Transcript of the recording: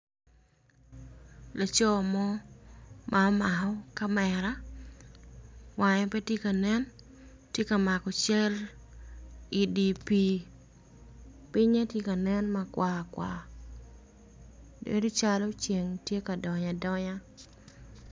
Laco mo ma omako kamera wange pe tye ka nentye ka mako cal i dye pii. Pinye tye ka nen makwar kwar. Ceng tye ka donyo adonya.